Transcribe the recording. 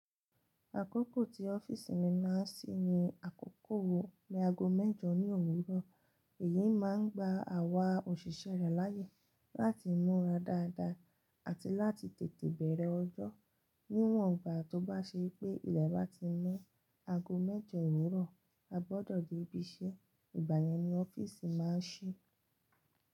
Àkókò tí ọ́fíìsì mi máa ń ṣí ni àkókò ni ago mẹ́jọ ní òwúrọ̀. Èyí máa ń gba àwa òṣìṣẹ́ rẹ̀ láyè láti múra dáadáa àti láti tètè bẹ̀rẹ̀ ọjọ́. Níwọ̀n gbà tó bá ṣe pé ilẹ̀ bá ti mọ́ ago mẹ́jọ òwúrọ̀, a gbọdọ̀ dé ibiṣẹ́. Ìgbà yẹn ni ọ́fíìsì máa ń ṣí.